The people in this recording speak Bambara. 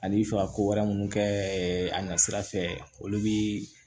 Ani fɛ ka ko wɛrɛ minnu kɛ a ɲɛ sira fɛ olu bɛ